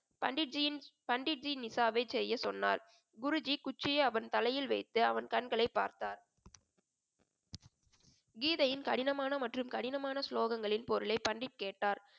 பண்டிட்ஜியின் பண்டிட்ஜி செய்ய சொன்னார் குருஜி குச்சியை அவன் தலையில் வைத்து அவன் கண்களை பார்த்தார் கீதையின் கடினமான மற்றும் கடினமான ஸ்லோகங்களின் பொருளை பண்டிட் கேட்டார்